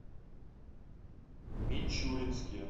мичуринске